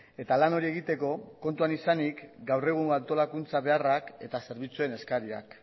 eta lan hori egiteko kontuan izanik gaur egun antolakuntza beharrak eta zerbitzuen eskariak